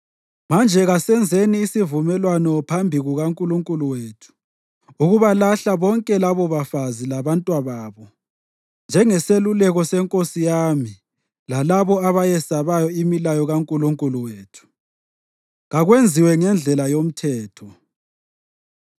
Manje kasenzeni isivumelwano phambi kukaNkulunkulu wethu ukubalahla bonke labobafazi labantwababo njengeseluleko senkosi yami lalabo abayesabayo imilayo kaNkulunkulu wethu. Kakwenziwe ngendlela yoMthetho.